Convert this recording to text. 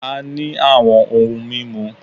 A ní àwọn ohun mímu